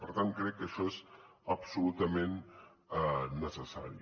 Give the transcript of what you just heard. per tant crec que això és absolutament necessari